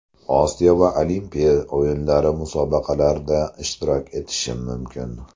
Osiyo va Olimpiya o‘yinlari Musobaqalarda ishtirok etishim mumkin.